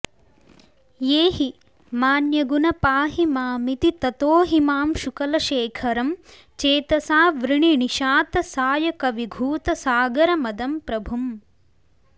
एहि मान्यगुण पाहि मामिति ततोऽहिमांशुकुलशेखरं चेतसाऽवृणि निशातसायकविघूतसागरमदं प्रभुम्